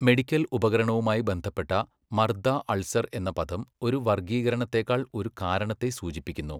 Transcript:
Medical ഉപകരണവുമായി ബന്ധപ്പെട്ട മർദ്ദ അൾസർ' എന്ന പദം ഒരു വർഗ്ഗീകരണത്തേക്കാൾ ഒരു കാരണത്തെ സൂചിപ്പിക്കുന്നു.